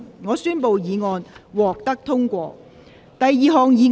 我宣布議案獲得通過。